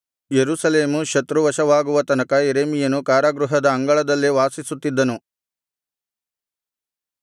ಯೆರೂಸಲೇಮು ಶತ್ರುವಶವಾಗುವ ತನಕ ಯೆರೆಮೀಯನು ಕಾರಾಗೃಹದ ಅಂಗಳದಲ್ಲೇ ವಾಸಿಸುತ್ತಿದ್ದನು